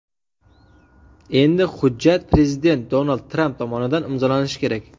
Endi hujjat prezident Donald Tramp tomonidan imzolanishi kerak.